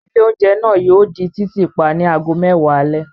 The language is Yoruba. Ilé-oúnjẹ náà yóò di títì pa ní ago mẹ́wàá alẹ́.